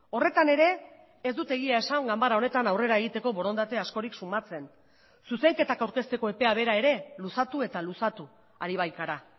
horretan ere ez dute egia esan ganbara honetan aurrera egiteko borondate askorik sumatzen zuzenketak aurkezteko epea bera ere luzatu eta luzatu ari baikara